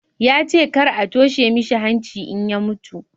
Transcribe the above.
ya ce kar a toshe mishi hanci in ya mutu